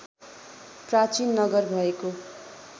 प्राचीन नगर भएको